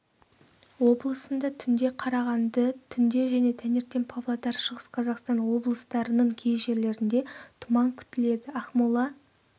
облысында түнде қарағанды түнде және таңертең павлодар шығыс қазақстан облыстарының кей жерлерінде тұман күтіледі ақмола